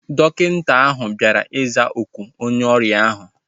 Dọkịta ahu bịara ịza oku onye ọrịa ahu